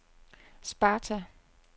Sparta